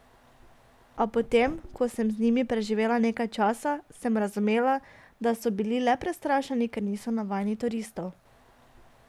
A po tem, ko sem z njimi preživela nekaj časa, sem razumela, da so bili le prestrašeni, ker niso navajeni turistov.